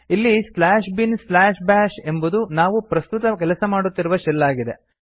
ಇಲ್ಲಿ slash bin slash bash ಎಂಬುದು ನಾವು ಪ್ರಸ್ತುತ ಕೆಲಸ ಮಾಡುತ್ತಿರುವ ಶೆಲ್ ಆಗಿದೆ